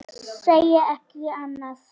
Segi ekki annað.